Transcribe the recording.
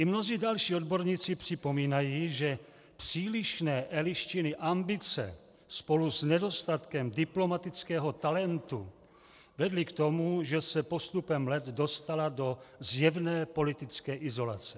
I mnozí další odborníci připomínají, že přílišné Eliščiny ambice spolu s nedostatkem diplomatického talentu vedly k tomu, že se postupem let dostala do zjevné politické izolace.